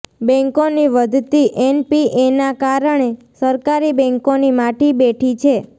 બેન્કોની વધતી એનપીએના કારણે સરકારી બેન્કોની માઠી બેઠી છે